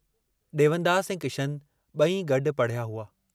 डेवनदास ऐं किशनु बई गड्डु पड़िहया हुआ।